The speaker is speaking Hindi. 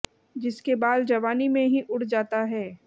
जिसके बाल जवानी में ही उड़ जाता है